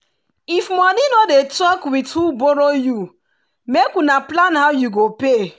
if money no dey talk with who borrow you make una plan how you go pay.